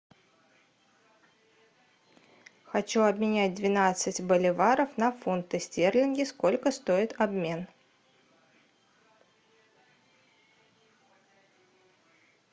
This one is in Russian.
хочу обменять двенадцать боливаров на фунты стерлинги сколько стоит обмен